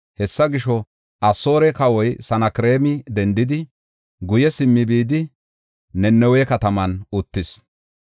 Hessa gisho, Asoore kawoy Sanakreema dendidi, guye simmi bidi Nanawe kataman uttis.